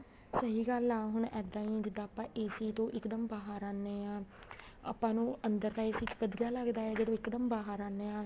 ਸਹੀ ਗੱਲ ਆ ਹੁਣ ਇੱਦਾਂ ਹੀ ਜਿੱਦਾਂ ਆਪਾਂ AC ਚੋਂ ਇੱਕਦਮ ਬਾਹਰ ਆਨੇ ਹਾਂ ਆਪਾਂ ਨੂੰ ਅੰਦਰ ਤਾਂAC ਚ ਵਧੀਆ ਲੱਗਦਾ ਹੈ ਜਦੋਂ ਇੱਕਦਮ ਬਾਹਰ ਆਨੇ ਹਾਂ